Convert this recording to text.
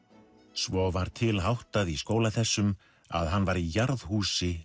svo var til háttað í skóla þessum að hann var í